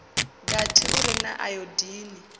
gathi u re na ayodini